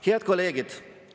Head kolleegid!